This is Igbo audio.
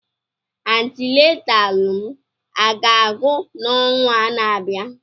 Antinataalụ m aga-agwụ n'ọnwa na-abịa?